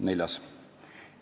Neljas küsimuste plokk.